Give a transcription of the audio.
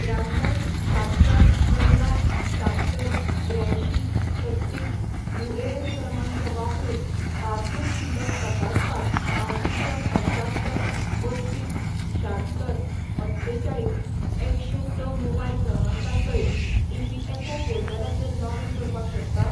त्र्याण्णव शात्तर पंदरा शात्तर त्र्यांयशीं छत्तीस युएएन क्रमांक वापरून पासबुक शिल्लक तपासपाक हांव दुसऱ्या पंच्यात्तर पस्तीस शात्तर अठ्ठेचाळीस एकशें स मोबायल क्रमांका सयत ईपीएफओ पोर्टलाचेर लॉगीन करपाक शकता ?